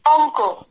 অঙ্ক